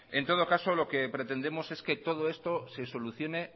en todo caso lo que pretendemos es que todo esto se solucione